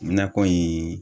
Nakɔ in